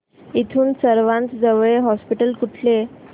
इथून सर्वांत जवळचे हॉस्पिटल कुठले